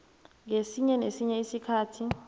ngesinye nesinye isikhathi